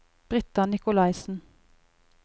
Brita Nikolaisen